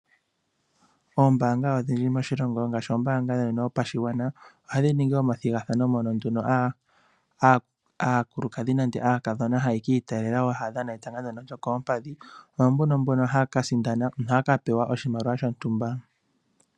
Oombaanga odhindji moshilongo ngaashi ombaanga yotango yopashigwana, ohayi ningi omathigathano moka aakulukadhi nenge aakadhona haya ki itaalela taya dhana etanga lyokoompandhi. Mboka haya sindana ohaya pewa oshimaliwa shontumba.